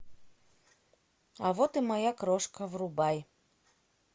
а вот и моя крошка врубай